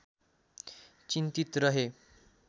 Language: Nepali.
चिन्तित रहे